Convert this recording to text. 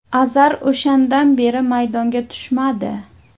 Azar o‘shandan beri maydonga tushmadi.